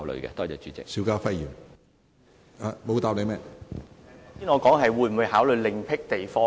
主席，我剛才的補充質詢是問會否考慮另闢地方......